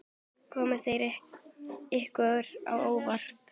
Komu þær ykkur á óvart?